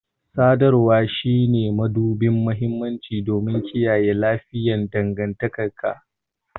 Sadarwa shine mabuɗin mahimmanci don kiyaye lafiyayyen dangantaka